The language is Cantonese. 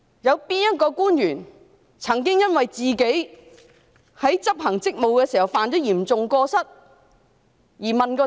有哪位官員曾因自己在執行職務時犯下嚴重過失而問責？